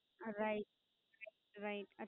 Right Right